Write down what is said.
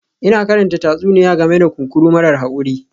Ina karanta tatsuniya game da kunkuru marar haƙuri